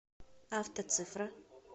автоцифра